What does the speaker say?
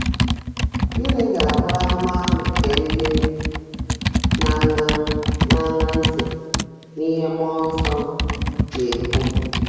Gịnị ga-abụ ahụmahụ nke ndị um na-aṅa um na-aṅa ntị n'ihe mmụọ nsọ um na-ekwu?